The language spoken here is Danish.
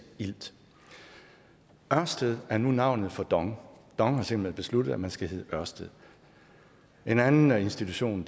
ilt ørsted er nu navnet på dong dong har simpelt hen besluttet at man skal hele ørsted en anden institution